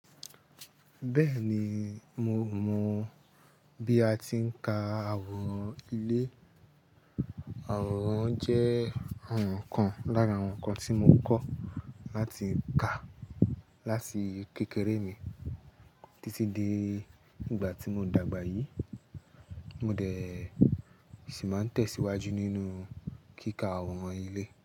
Bẹ́ẹ̀ni, mo mọ bí a ti ń ka àwòrán ilé. Àwòrán jẹ́ ọ̀ràn kan lára àwọn nǹkan tí mo kọ̀ láti ka láti kékeré mi títí di ìgbà tí mo dàgbà yìí. Mo dẹ̀ sì máa ń tẹ̀síwájú nínú kíkà àwòrán ilé.